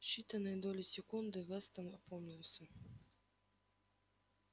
в считанные доли секунды вестон опомнился